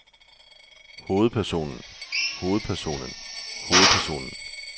hovedpersonen hovedpersonen hovedpersonen